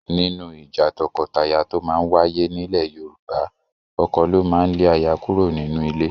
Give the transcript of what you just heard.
Nínú ìjà tọkọtaya tó máa ń wáyé nílẹ̀ Yorùbá, ọkọ ló máa ń lé aya kúrò nínú ilé